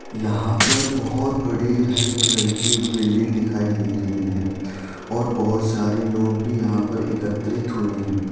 यहाँ पर बहुत बड़ी हरे कलर की एक बिल्डिंग दिखाई दे रही है और बहुत सारे लोग भी यहाँ पर एकत्रित हुए है।